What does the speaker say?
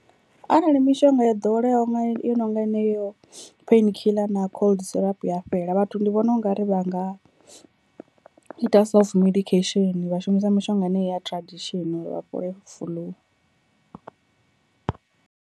Arali mishonga yo ḓoweleyaho nga yo no nga heneyo pain killer na cold syrup ya fhela vhathu ndi vhona ungari vha nga ita self medication vha shumisa mishonga ine ya tradition uri vha fhole fuḽu.